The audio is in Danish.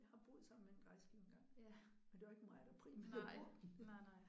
Jeg har boet sammen med en drejeskive engang men det var ikke mig der primært brugte den